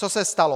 Co se stalo?